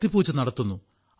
ശക്തിപൂജ നടത്തുന്നു